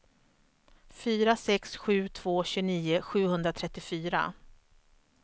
fyra sex sju två tjugonio sjuhundratrettiofyra